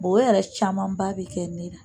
o yɛrɛ camanba bɛ kɛ ne ra.